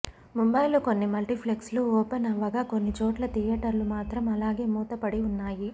ముంబైలో కొన్ని మల్టీప్లెక్స్ లు ఓపెన్ అవ్వగా కొన్ని చోట్ల థియేటర్లు మాత్రం అలాగే మూతబడి ఉన్నాయి